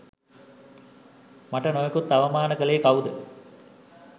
මට නොයෙකුත් අවමාන කලේ කවුද?